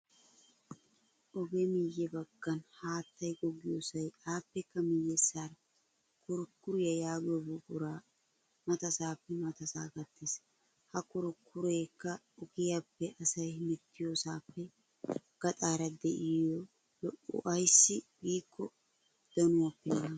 Ogee miyye baggan haattay goggiyosay aappekka miyessaara kurikuriya yaagiyo buqura matasaappe matasaa gattees. Ha kurikkureeka ugiyappe asay hemettiyosaappe gaxara diyo lo''o ayssi giikko danuwappe naagees.